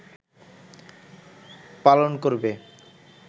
পালন করবে